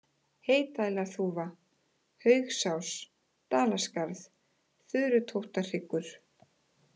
Heydælarþúfa, Haugsás, Dalaskarð, Þurutóttarhryggur